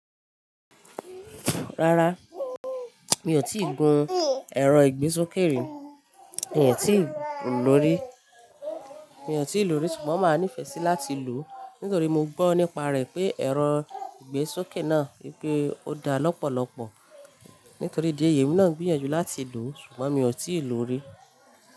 Rárá, mi ò tíì gun ẹ̀rọ ìgbésókè rí, mi ò tíì lòó rí. Mi ò tí ì lòó rí ṣùgbọ́n màá nífẹ́ sí láti lò ó, nítorí mo gbọ́ nípa rẹ̀ pé ẹ̀rọ ìgbésókè náà wipé ó dá lọ́pọ̀lọpọ̀. Nítorí di ẹyi emi náà ń gbìyànjú láti lò ó ṣùgbọ́n mi ò tí ì lòó rí.